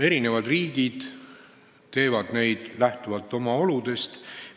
Eri riigid teevad muudatusi lähtuvalt oma oludest.